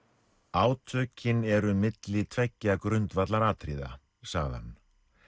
átökin eru milli tveggja grundvallaratriða sagði hann